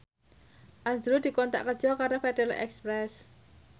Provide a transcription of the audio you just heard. azrul dikontrak kerja karo Federal Express